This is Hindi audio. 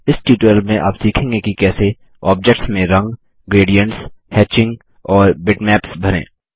इस ट्यूटोरियल में आप सीखेंगे कि कैसे ऑब्जेक्ट्स में रंग ग्रेडियन्ट्स हेचिंग और बिटमैप्स भरें